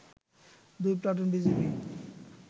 দুই platoon BGB